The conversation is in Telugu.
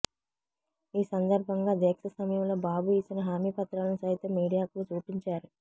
ఈ సందర్బంగా దీక్ష సమయంలో బాబు ఇచ్చిన హామీ పత్రాలను సైతం మీడియాకు చూపించారు